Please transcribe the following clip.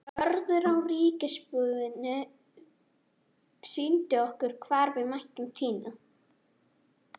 Vörður á ríkisbúinu sýndi okkur hvar við mættum tína.